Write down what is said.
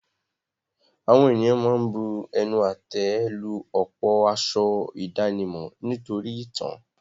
Àwọn ènìyàn ma ń bu ẹnu àtẹ́ lu ọ̀pọ̀ aṣọ ìdánimọ̀ nítorí ìtàn.